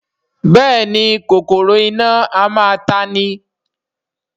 Bẹ́ẹ̀ni kòkòrò iná a máa ta'ni